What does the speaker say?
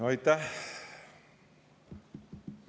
Aitäh!